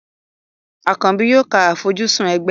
Àkànbì yóò ka àfojúsùn ẹgbẹ́.